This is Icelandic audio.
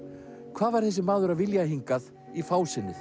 hvað var þessi maður að vilja hingað í